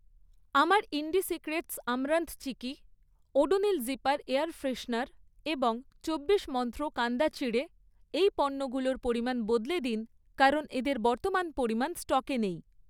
আপনার Indie Secrets amaranth chikki, Odonil zipper air freshener এবং চব্বিশ মন্ত্র কান্দা চিড়ে এই পণ্যগুলোর পরিমাণ বদলে দিন কারণ এদের বর্তমান পরিমাণ স্টকে নেই